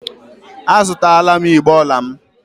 A zụtala m igbé ọla m.